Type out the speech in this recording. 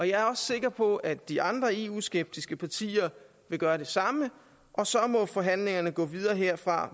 jeg er også sikker på at de andre eu skeptiske partier vil gøre det samme og så må forhandlingerne gå videre herfra